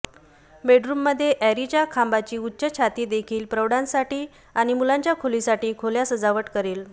बेडरूममध्ये ऍरेच्या खांबाची उच्च छाती देखील प्रौढांसाठी आणि मुलांच्या खोलीसाठी खोल्या सजावट करेल